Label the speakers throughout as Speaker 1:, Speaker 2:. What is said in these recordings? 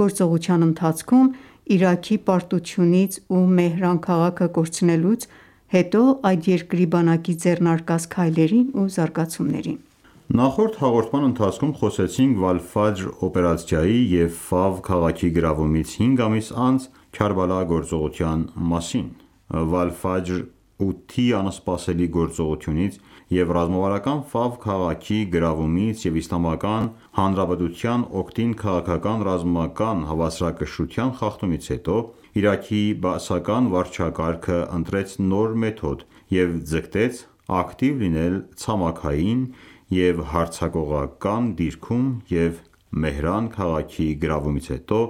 Speaker 1: գործողության ընթացքում Իրաքի պարտությունից ու Մեհրան քաղաքը կորցնելուց հետո այդ երկրի բանակի ձեռնարկած քայլերին ու զարգացումներին:
Speaker 2: Նախորդ հաղորդման ընթացքում խոսեցինք «Վալ-Ֆաջր» օպերացիայի և Ֆավ քաղաքի գրավումից հինգ ամիս անց «Քարբալա» գործողության մասին: «Վալ-Ֆաջր-8»-ի անսպասելի գործողությունից և ռազմավարական Ֆավ քաղաքի գրավումից և Իսլամական Հանրապետության օգտին քաղաքական-ռազմական հավասարակշռության խախտումից հետո Իրաքի բաասական վարչակարգը ընտրեց նոր մեթոդ և ձգտեց ակտիվ լինել ցամաքային և հարձակողական դիրքում և Մեհրան քաղաքի գրավումից հետո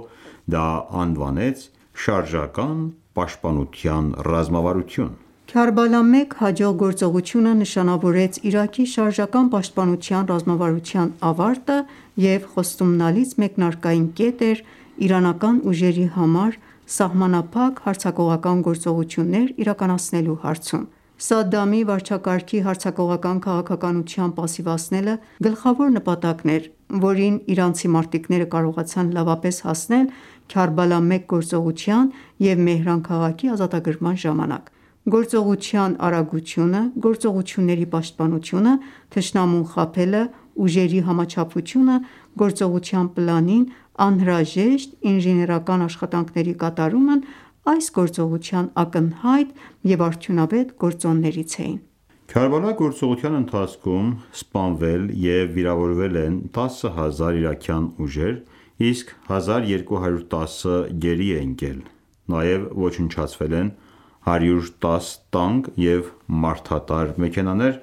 Speaker 2: դա անվանեց «շարժական պաշտպանության ռազմավարություն»:
Speaker 1: «Քարբալա 1» հաջող գործողությունը նշանավորեց Իրաքի շարժական պաշտպանության ռազմավարության ավարտը և խոստումնալից մեկնարկային կետ էր իրանական ուժերի համար սահմանափակ հարձակողական գործողություններ իրականացնելու հարցում: Սադամի վարչակարգի հարձակողական քաղաքականության պասիվացնելը գլխավոր նպատակն էր, որին իրանցի մարտիկները կարողացան լավապես հասնել Քարբալա-1 գործողության և Մեհրան քաղաքի ազատագրման ժամանակ: Գործողության արագությունը, գործողությունների պաշտպանությունը, թշնամուն խաբելը, ուժերի համաչափությունը գործողության պլանին, անհրաժեշտ ինժեներական աշխատանքների կատարումն այս գործողության ակնհայտ և արդյունավետ գործոններից էին։
Speaker 2: Քարբալա գործողության ընթացքում սպանվել և վիրավորվել են 10000 իրաքյան ուժեր, իսկ 1210-ը գերի է ընկել: Նաև ոչնչացվել են 110 տանկ և մարդատար մեքենաներ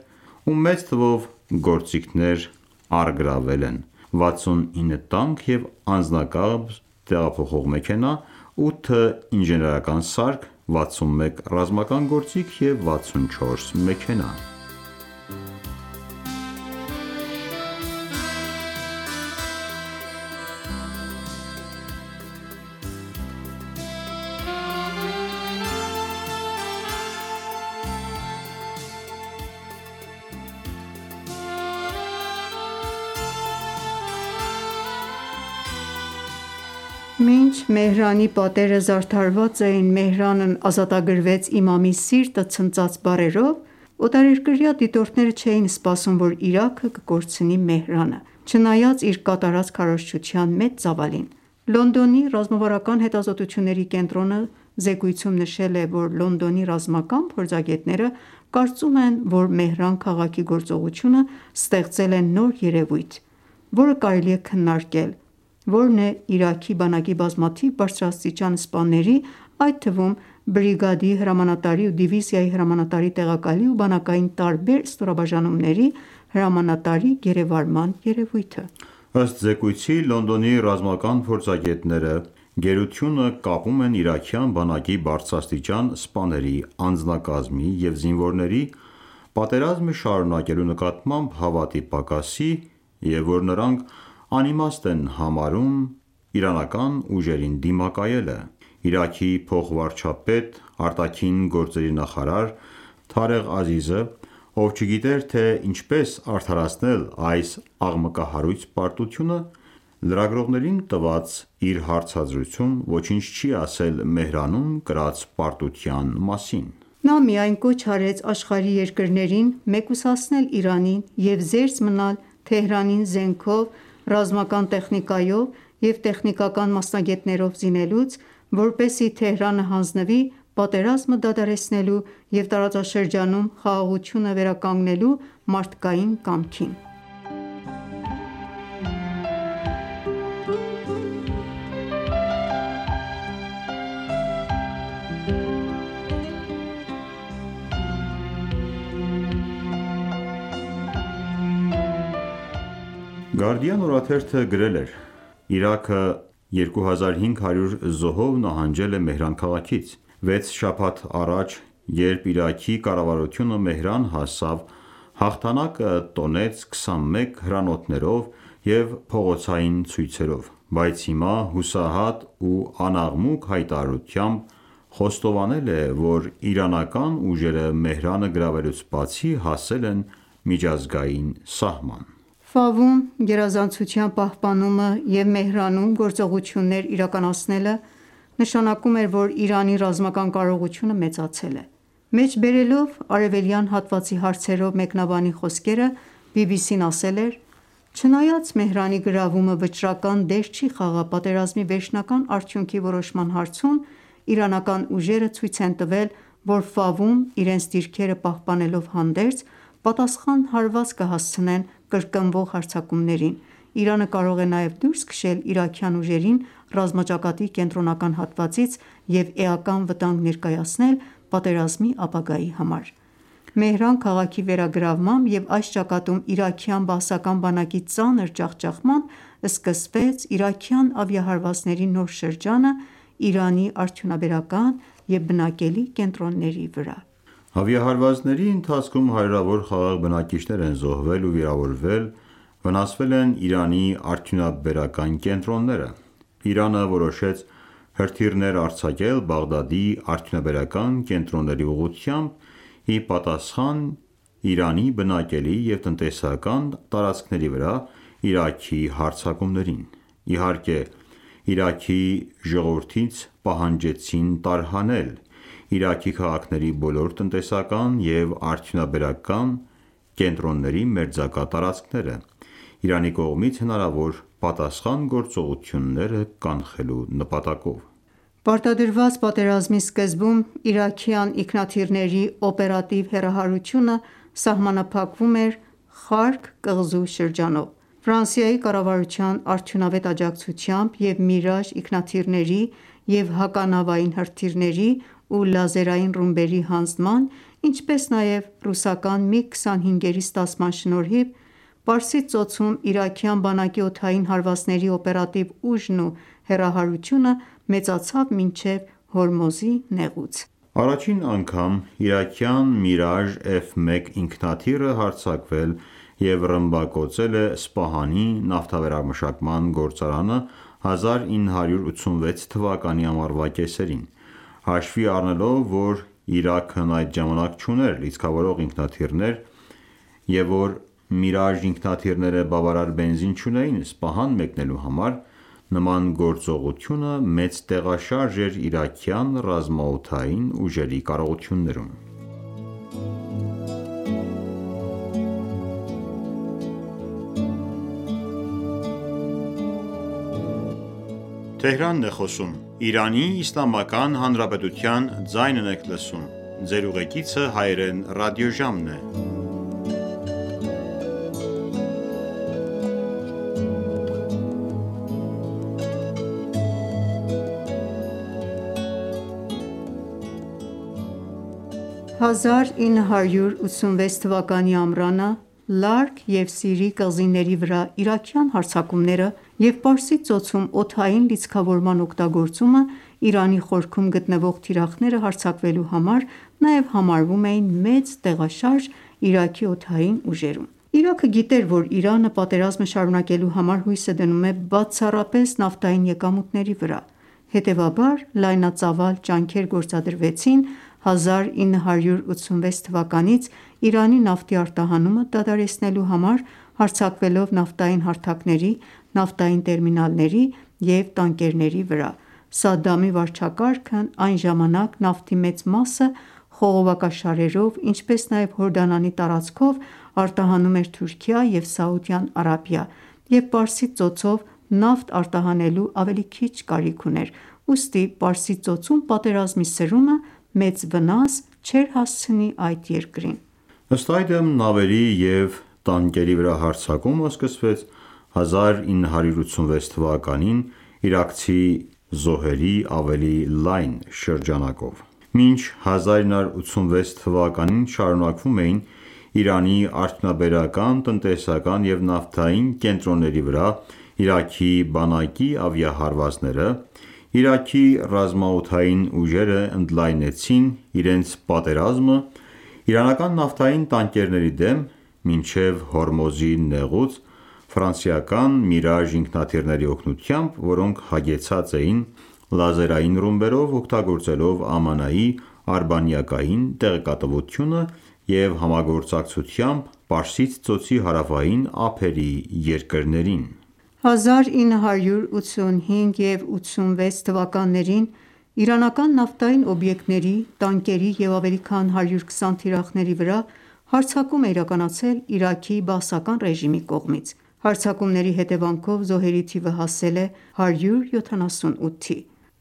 Speaker 2: ու մեծ թվով գործիքներ, առգրավվել են 69 տանկ և անձնակազմ փոխադրող մեքենա, 8 ինժեներական սարք, 61 ռազմական գործիք և 64 մեքենա։
Speaker 1: Մինչ Մեհրանի պատերը զարդարված էին «Մեհրանն ազատագրվեց, Իմամի սիրտը ցնծաց» բառերով, օտարերկրյա դիտորդները չէին սպասում, որ Իրաքը կկորցնի Մեհրանը՝ չնայած իր կատարած քարոզչության մեծ ծավալին: Լոնդոնի ռազմավարական հետազոտությունների կենտրոնը զեկույցում նշել է, որ Լոնդոնի ռազմական փորձագետները կարծում են, որ «Մեհրան» քաղաքի գործողությունը ստեղծել է նոր երեւույթ, որը կարելի է քննարկել, որն է, Իրաքի բանակի բազմաթիվ բարձրաստիճան սպաների, այդ թվում՝ բրիգադի հրամանատարի ու դիվիզիայի հրամանատարի տեղակալի ու բանակային տարբեր ստորաբաժանումների հրամանատարի գերեվարման երևույթը։
Speaker 2: Ըստ զեկույցի՝ Լոնդոնի ռազմական փորձագետները գերությունը կապում են իրաքյան բանակի բարձրաստիճան սպաների, անձնակազմի և զինվորների՝ պատերազմը շարունակելու նկատմամբ հավատի պակասի և որ նրանք անիմաստ են համարում իրանական ուժերին դիմակայելը։ Իրաքի փոխվարչապետ, արտաքին գործերի նախարար Թարեղ Ազիզը, ով չգիտեր, թե ինչպես արդարացնել այս աղմկահարույց պարտությունը լրագրողներին տված իր հարցազրույցում ոչինչ չի ասել Մեհրանում կրած պարտության մասին։
Speaker 1: Նա միայն կոչ արեց աշխարհի երկրներին մեկուսացնել Իրանին և զերծ մնալ Թեհրանին զենքով, ռազմական տեխնիկայով և տեխնիկական մասնագետներով զինելուց, որպեսզի Թեհրանը հանձնվի պատերազմը դադարեցնելու և տարածաշրջանում խաղաղությունը վերադականգնելու մարդկային կամքին:
Speaker 2: Գարդիան օրաթերթը գրել էր.«Իրաքը 2500 զոհով նահանջել է Մեհրան քաղաքից։ Վեց շաբաթ առաջ, երբ Իրաքի կառավարությունը Մեհրան հասավ, հաղթանակը տոնեց 21 հրանոթներով և փողոցային ցույցերով, բայց հիմա հուսահատ ու անաղմուկ հայտարարությամբ խոստովանել է, որ իրանական ուժերը Մեհրանը գրավելուց բացի, հասել են միջազգային սահման»:
Speaker 1: գերազանցության պահպանումը և Մեհրանում գործողություններ իրականացնելը նշանակում էր, որ Իրանի ռազմական կարողությունը մեծացել է: Մեջբերելով արևելյան հատվածի հարցերով մեկնաբանի խոսքերը BBC-ն ասել էր.«Չնայած Մեհրանի գրավումը վճռական դեր չի խաղա պատերազմի վերջնական արդյունքի որոշման հարցում, իրանական ուժերը ցույց են տվել, որ Ֆավում իրենց դիրքերը պահպանելով հանդերձ, պատասխան հարված կհասցնեն կրկնվող հարձակումներին, Իրանը կարող է նաև դուրս քշել իրաքյան ուժերին ռազմաճակատի կենտրոնական հատվածից և էական վտանգ ներկայացնել պատերազմի ապագայի համար»: Մեհրան քաղաքի վերագրավմամբ և այս ճակատում իրաքյան բաասական բանակի ծանր ջախջախմամբ սկսվեց իրաքյան ավիահարվածների նոր շրջանը Իրանի արդյունաբերական և բնակելի կենտրոնների վրա:
Speaker 2: Ավիահարվածների ընթացքում հարյուրավոր խաղաղ բնակիչներ են զոհվել ու վիրավորվել, վնասվել են Իրանի արդյունաբերական կենտրոնները։ Իրանը որոշեց հրթիռներ արձակել Բաղդադի արդյունաբերական կենտրոնների ուղղությամբ՝ ի պատասխան Իրանի բնակելի և տնտեսական տարածքների վրա Իրաքի հարձակումներին: Իհարկե, Իրաքի ժողովրդից պահանջեցին տարհանել Իրաքի քաղաքների բոլոր տնտեսական և արդյունաբերական կենտրոնների մերձակա տարածքները, Իրանի կողմից hնարավոր պատասխան գործողությունները կանխելու նպատակով:
Speaker 1: Պարտադրված պատերազմի սկզբում իրաքյան ինքնաթիռների օպերատիվ հեռահարությունը սահմանափակվում էր Խարկ կղզու շրջանով։ Ֆրանսիայի կառավարության արդյունավետ աջակցությամբ և Mirage(Միրաժ) ինքնաթիռների և հականավային հրթիռների ու լազերային ռումբերի հանձնման, ինչպես նաև ռուսական MiG 25-երի ստացման շնորհիվ Պարսից Ծոցում իրաքյան բանակի օդային հարվածների օպերատիվ ուժն ու հեռահարությունը մեծացավ մինչև Հորմուզի նեղուց:
Speaker 2: Առաջին անգամ իրաքյան Mirage F-1 ինքնաթիռը հարձակվել և ռմբակոծել է Սպահանի նավթավերամշակման գործարանը 1986 թվականի ամառվա կեսերին: Հաշվի առնելով, որ Իրաքն այդ ժամանակ չուներ լիցքավորող ինքնաթիռներ, և որ Mirage ինքնաթիռները բավարար բենզին չունեին Սպահան մեկնելու համար, նման գործողությունը մեծ տեղաշարժ էր իրաքյան ռազմաօդային ուժերի կարողություններում։ 1986
Speaker 1: թվականի ամռանը Լարկ և Սիրի կղզիների վրա իրաքյան հարձակումները և Պարսից Ծոցում օդային լիցքավորման օգտագործումը Իրանի խորքում գտնվող թիրախները հարձակվելու համար նաև համարվում էին մեծ տեղաշարժ Իրաքի օդային ուժերում: Իրաքը գիտեր, որ Իրանը պատերազմը շարունակելու համար հույսը դնում է բացառապես նավթային եկամուտների վրա: Հետևաբար, լայնածավալ ջանքեր գործադրվեցին 1986 թվականից Իրանի նավթի արտահանումը դադարեցնելու համար՝ հարձակվելով նավթային հարթակների, նավթային տերմինալների և տանկերների վրա: Սադամի վարչակարգն այն ժամանակ նավթի մեծ մասը խողովակաշարերով, ինչպես նաև Հորդանանի տարածքով արտահանում էր Թուրքիա և Սաուդյան Արաբիա,, և Պարսից ծոցով նավթ արտահանելու ավելի քիչ կարիք ուներ: Ուստի Պարսից ծոցում պատերազմի սրումը մեծ վնաս չէր հասցնի այդ երկրին։
Speaker 2: Ըստ այդմ, նավերի և տանկերի վրա հարձակումը սկսվեց 1986 թվականին՝ իրաքցի զոհերի ավելի լայն շրջանակով: Մինչ 1986 թվականին շարունակվում էին Իրանի արդյունաբերական, տնտեսական և նավթային կենտրոնների վրա Իրաքի բանակի ավիահարվածները, Իրաքի ռազմաօդային ուժերը ընդլայնեցին իրենց պատերազմը իրանական նավթային տանկերների դեմ մինչև Հորմուզի նեղուց՝ ֆրանսիական Mirage ինքնաթիռների օգնությամբ, որոնք հագեցած էին լազերային ռումբերով՝ օգտագործելով ԱՄՆ-ի արբանյակային տեղեկատվությունը և համագործակցութամբ Պարսից Ծոցի հարավային ափերի երկրների։
Speaker 1: 1985 և 1986 թվականներին իրանական նավթային օբյեկտների, տանկերի և ավելի քան 120 թիրախների վրա հարձակում է իրականացել Իրաքի բաասական ռեժիմի կողմից: Հարձակումների հետևանքով զոհերի թիվը հասել է 178-ի։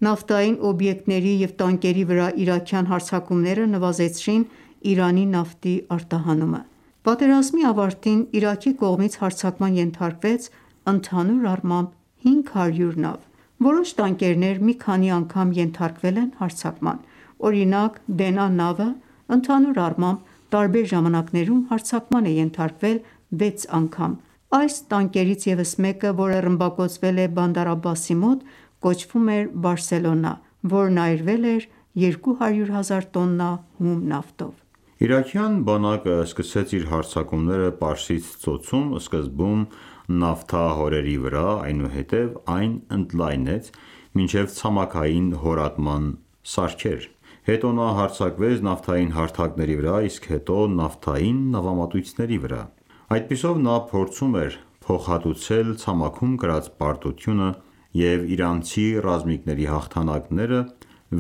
Speaker 1: Նավթային օբյեկտների և տանկերի վրա իրաքյան հարձակումները նվազեցրին Իրանի նավթի արտահանումը։ Պատերազմի ավարտին Իրաքի կողմից հարձակման ենթարկվեց ընդհանուր առմամբ 500 նավ։ Որոշ տանկերներ մի քանի անգամ ենթարկվել են հարձակման։ Օրինակ՝ «Դենա» նավը, ընդհանուր առմամբ, տարբեր ժամանակներում հարձակման է ենթարկվել 6 անգամ։ Այս տանկերից ևս մեկը, որը ռմբակոծվել է Բանդար Աբասի մոտ, կոչվում էր Բարսելոնա, որն այրվել էր 200 հազար տոննա հում նավթով:
Speaker 2: Իրաքյան բանակը սկսեց իր հարձակումները Պարսից ծոցում սկզբում նավթահորերի վրա, այնուհետև այն ընդլայնեց մինչև ցամաքային հորատման սարքեր: Հետո նա հարձակվեց նավթային հարթակների վրա, իսկ հետո՝ նավթային նավամատույցների վրա: Այդպիսով նա փորձում էր փոխհատուցել ցամաքում կրած պարտությունը և իրանցի ռազմիկների հաղթանակները՝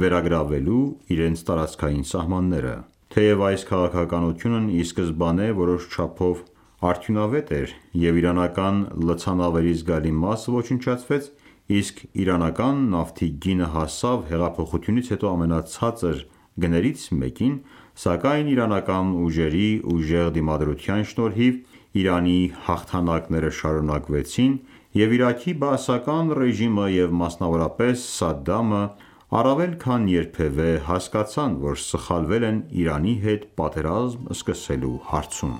Speaker 2: վերագրավելու իրենց տարածքային սահմանները: Թեև այս քաղաքականությունն ի սկզբանե որոշ չափով արդյունավետ էր, և իրանական լցանավերի զգալի մասը ոչնչացվեց, իսկ իրանական նավթի գինը հասավ հեղափոխությունից հետո ամենացածր գներից մեկին, սակայն իրանական ուժերի ուժեղ դիմադրության շնորհիվ Իրանի հաղթանակները շարունակվեցին և Իրաքի բաասական ռեժիմը, և մասնավորապես Սադդամը, առավել քան երբևէ հասկացան, որ սխալվել են Իրանի հետ պատերազմ սկսելու հարցում: